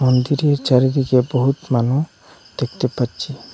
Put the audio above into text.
মন্দিরের চারিদিকে বহুত মানুষ দেখতে পাচ্ছি।